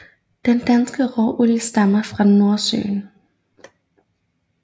Den danske råolie stammer fra Nordsøen